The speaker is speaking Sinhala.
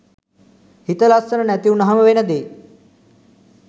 හිත ලස්සන නැති වුණාම වෙන දේ.